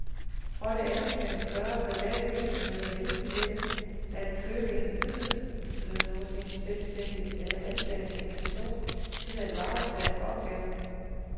For det andet kan større private virksomheder vælge mellem at købe en ydelse hos en selvstændig eller ansætte en person til at varetage opgaven.